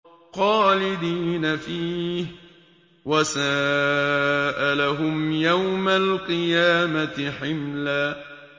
خَالِدِينَ فِيهِ ۖ وَسَاءَ لَهُمْ يَوْمَ الْقِيَامَةِ حِمْلًا